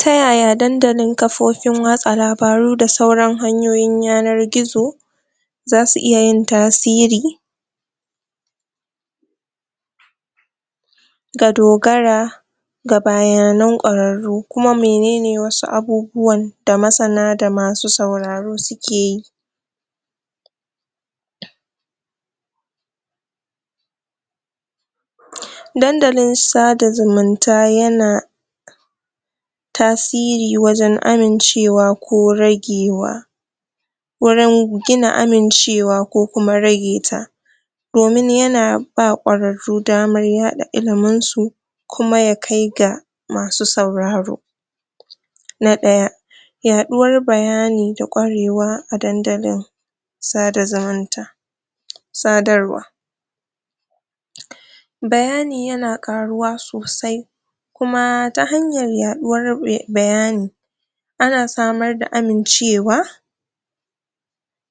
Ta yaya dandalin kafofin watsa labaru da sauran hanyoyin yanar gizo zasu iya yin tasiri ga dogara ga bayanan ƙwararru, kuma menene wasu abubuwan da masana da masu sauraro suke yi dandalin sada zumunta yana tasiri wajen amincewa ko ragewa wurin gina amincewa ko kuma rage ta domin yana ba ƙwararru damar yaɗa ilimin su kuma ya kai ga masu sauraro na ɗaya yaɗuwar bayani da ƙwarewa a dandalin sada zumunta sadarwa bayani yana ƙaruwa sosai kuma ta hanyar yaɗuwar me bayani ana samar da amincewa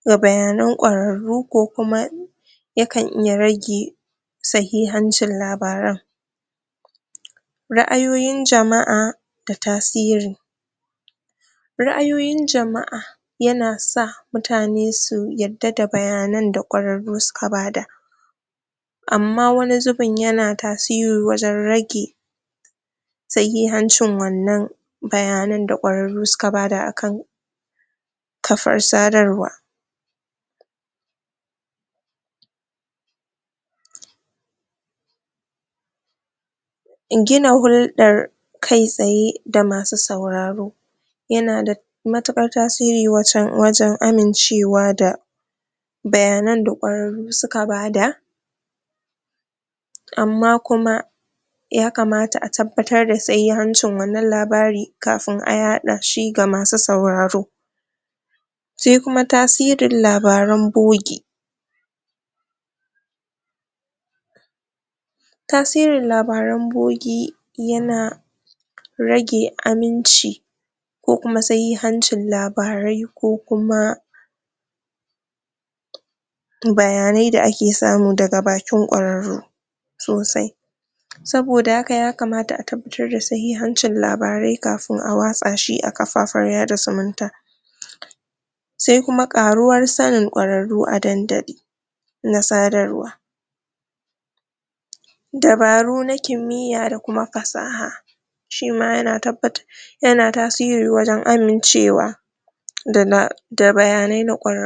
da bayanan ƙwararru ko kuma ya kan iya rage sahihancin labaran ra'ayoyin jama'a ga tasiri ra'ayoyin jama'a yana sa mutane su yadda da bayanan da ƙwararru suka bada amma wani zubin yana tasiri wajen rage sahihancin wannan bayanan da ƙwararru suka bada akan kafar sadarwa gina hulɗar kai tsaye da masu sauraro yana da matuƙar tasiri wajen amincewa da bayanan da ƙwararru suka bada amma kuma yakamata a tabbatar da sahihancin wannan labarin kafin a yaɗa shi ga masu sauraro shi kuma tasirin labaran bogi tasirin labaran bogi yana rage ƙaranci ko kuma sahihancin labarai ko kuma bayanai da ake samu daga bakin ƙwararru sosai saboda haka yakamata a tabbatar da sahihancin labarai kafin a watsa shi a kafafen yaɗa zumunta sai kuma ƙaruwar sanin ƙwararru a dandali na sadarwa dabaru na kimiyya da kuma fasaha shi ma yana tabbata, yana tasiri wajen amincewa daga da bayanai na ƙwararru.